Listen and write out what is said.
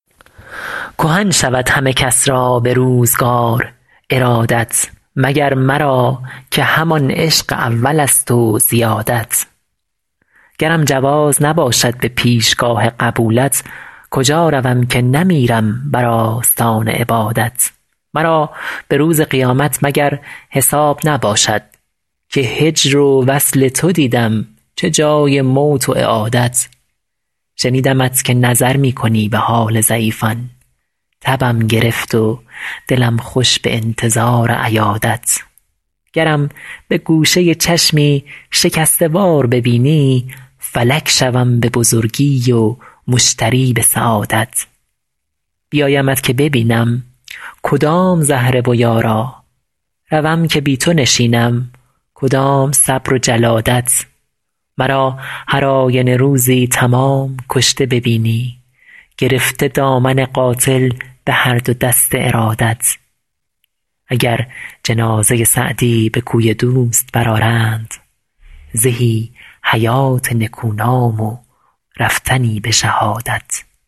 کهن شود همه کس را به روزگار ارادت مگر مرا که همان عشق اولست و زیادت گرم جواز نباشد به پیشگاه قبولت کجا روم که نمیرم بر آستان عبادت مرا به روز قیامت مگر حساب نباشد که هجر و وصل تو دیدم چه جای موت و اعادت شنیدمت که نظر می کنی به حال ضعیفان تبم گرفت و دلم خوش به انتظار عیادت گرم به گوشه چشمی شکسته وار ببینی فلک شوم به بزرگی و مشتری به سعادت بیایمت که ببینم کدام زهره و یارا روم که بی تو نشینم کدام صبر و جلادت مرا هر آینه روزی تمام کشته ببینی گرفته دامن قاتل به هر دو دست ارادت اگر جنازه سعدی به کوی دوست برآرند زهی حیات نکونام و رفتنی به شهادت